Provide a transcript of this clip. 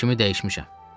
Fikrimi dəyişmişəm.